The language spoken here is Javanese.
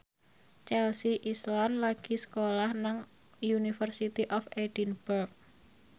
Chelsea Islan lagi sekolah nang University of Edinburgh